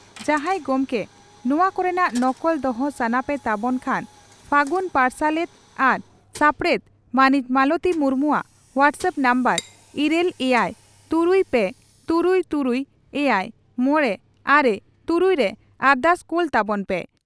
ᱡᱟᱦᱟᱸᱭ ᱜᱚᱢᱠᱮ ᱱᱚᱣᱟ ᱠᱚᱨᱮᱱᱟᱜ ᱱᱚᱠᱚᱞ ᱫᱚᱦᱚ ᱥᱟᱱᱟ ᱯᱮ ᱛᱟᱵᱚᱱ ᱠᱷᱟᱱ ᱯᱷᱟᱹᱜᱩᱱ ᱯᱟᱨᱥᱟᱞᱮᱛ ᱟᱨ ᱥᱟᱯᱲᱮᱛ ᱢᱟᱹᱱᱤᱡ ᱢᱟᱞᱚᱛᱤ ᱢᱩᱨᱢᱩᱣᱟᱜ ᱦᱚᱣᱴᱟᱥᱟᱟᱯ ᱱᱟᱢᱵᱟᱨ ᱤᱨᱟᱹᱞ ᱮᱭᱟᱭ ᱛᱩᱨᱩᱭ ᱯᱮ ᱛᱩᱨᱩᱭ ᱛᱩᱨᱩᱭ ᱮᱭᱟᱭ ᱢᱚᱲᱮ ᱟᱨᱮ ᱛᱩᱨᱩᱭ ᱨᱮ ᱟᱨᱫᱟᱥ ᱠᱳᱞᱛᱟᱵᱚᱱ ᱯᱮ ᱾